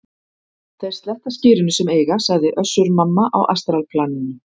Þeir sletta skyrinu sem eiga, sagði Össur-Mamma á astralplaninu.